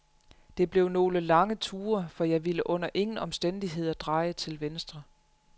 Det blev nogle lange ture, for jeg ville under ingen omstændigheder dreje til venstre.